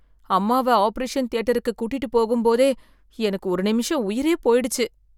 அம்மாவை ஆபரேஷன் தியேட்ருக்கு கூட்டிட்டு போகும் போதே எனக்கு ஒரு நிமிஷம் உயிரே போயிடுச்சு